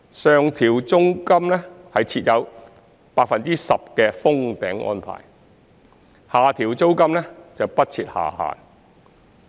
上調租金設有 10% 的"封頂"安排，下調租金時則不設下限。